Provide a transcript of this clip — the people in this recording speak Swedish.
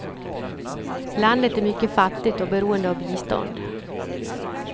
Landet är mycket fattigt och beroende av bistånd.